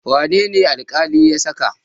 Wane ne alƙali ya saka?